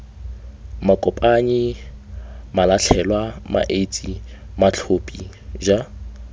makopanyi malatlhelwa maetsi matlhophi j